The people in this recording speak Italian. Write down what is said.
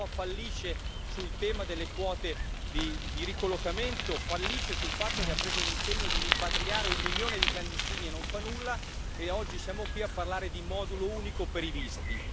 L'Europa fallisce sul tema delle quote di ricollocamento, fallisce sul fatto che ha preso un impegno di rimpatriare un milione di clandestini e non fa nulla, e oggi siamo qui a parlare di modulo unico per i visti.